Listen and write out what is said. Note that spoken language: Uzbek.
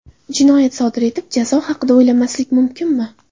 Jinoyat sodir etib, jazo haqida o‘ylamaslik mumkinmi?